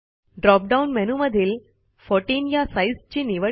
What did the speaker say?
drop down मेनूमधील 14 या साईजची निवड करा